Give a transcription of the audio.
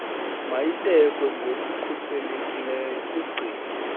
mayibekwe ngokukhuselekileyo kugcino